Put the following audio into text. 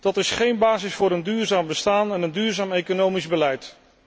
Dat is geen basis voor een duurzaam bestaan en een duurzaam economisch beleid.